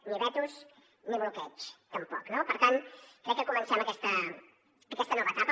ni vetos ni bloqueig tampoc no per tant crec que comencem aquesta nova etapa